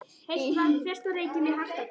Heitt vatn fékkst á Reykjum í Hjaltadal.